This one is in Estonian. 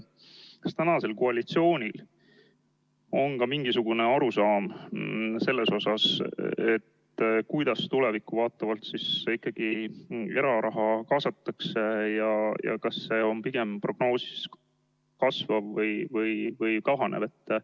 Kas tänasel koalitsioonil on ka mingisugune arusaam, kuidas tulevikku vaatavalt ikkagi eraraha kaasatakse ja kas see on prognoosi järgi pigem kasvav või kahanev?